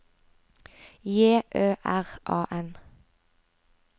J Ø R A N